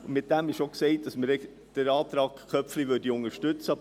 Damit ist auch gesagt, dass wir den Antrag Köpfli unterstützen würden.